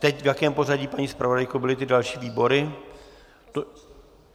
Teď v jakém pořadí, paní zpravodajko, byly ty další výbory?